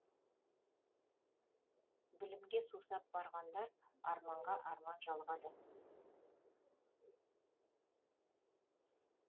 білімге сусап барғандар арманға арман жалғады